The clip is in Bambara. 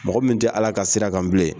Mɔgɔ min tɛ ALA ka sira kan bilen.